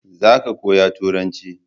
za ka koya turanci!